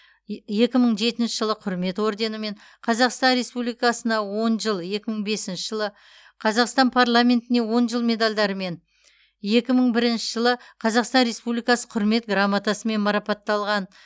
екі мың жетінші жылы құрмет орденімен қазақстан республикасына он жыл екі мың бесінші жылы қазақстан парламентіне он жыл медальдарымен екі мың бірінші жылы қазақстан республикасы құрмет грамотасымен марапатталған